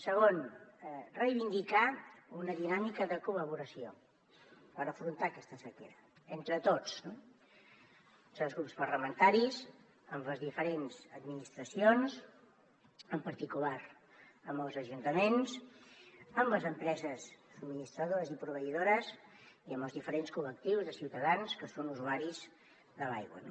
segon reivindicar una dinàmica de col·laboració per afrontar aquesta sequera entre tots entre els grups parlamentaris amb les diferents administracions en particular amb els ajuntaments amb les empreses subministradores i proveïdores i amb els diferents col·lectius de ciutadans que són usuaris de l’aigua